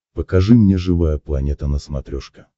покажи мне живая планета на смотрешке